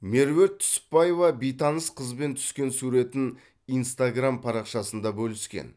меруерт түсіпбаева бейтаныс қызбен түскен суретін инстаграм парақшасында бөліскен